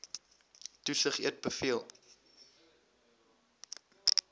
toesig eet beveel